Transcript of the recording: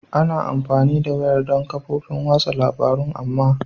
Ana amfani da wayar don kafofin watsa labarun amma